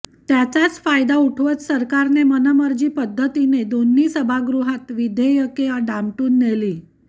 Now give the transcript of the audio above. त्याचाच फायदा उठवत सरकारने मनमर्जी पद्धतीने दोन्ही सभागृहांत विधेयके दामटून नेली